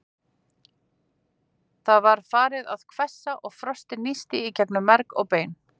Það var farið að hvessa og frostið nísti í gegnum merg og bein.